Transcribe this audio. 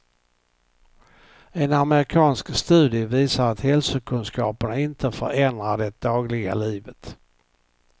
En amerikansk studie visar att hälsokunskaperna inte förändrar det dagliga livet.